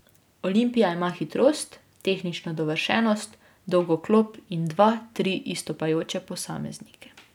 Olimpija ima hitrost, tehnično dovršenost, dolgo klop in dva, tri izstopajoče posameznike.